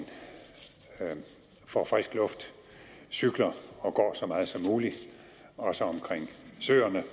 får frisk luft cykler og går så meget som muligt også omkring søerne